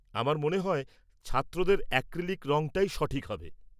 আমার মনে হয় ছাত্রদের অ্যাক্রিলিক রঙটাই সঠিক হবে।